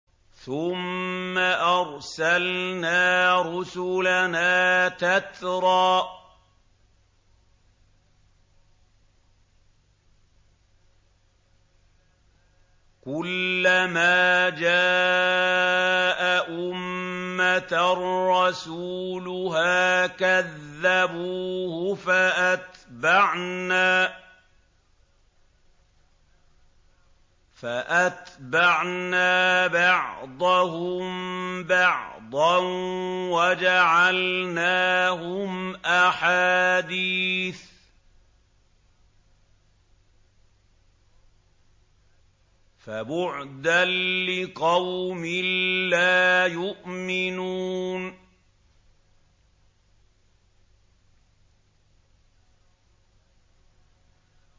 ثُمَّ أَرْسَلْنَا رُسُلَنَا تَتْرَىٰ ۖ كُلَّ مَا جَاءَ أُمَّةً رَّسُولُهَا كَذَّبُوهُ ۚ فَأَتْبَعْنَا بَعْضَهُم بَعْضًا وَجَعَلْنَاهُمْ أَحَادِيثَ ۚ فَبُعْدًا لِّقَوْمٍ لَّا يُؤْمِنُونَ